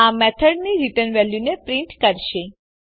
આ મેથડની રીટર્ન વેલ્યુને પ્રીંટ કરશે